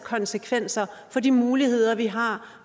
konsekvenser for de muligheder vi har